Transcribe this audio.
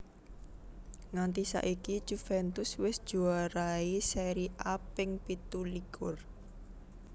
Nganti saiki Juventus wis njuarai Seri A ping pitu likur